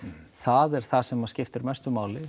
það er það sem skiptir mestu máli